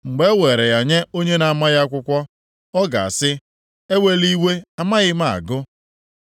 Mgbe e weere ya nye onye na-amaghị akwụkwọ, ọ ga-asị, “Ewela iwe, amaghị m agụ.”